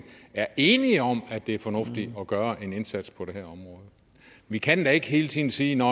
er enige om at det er fornuftigt at gøre en indsats på det her område vi kan da ikke hele tiden sige at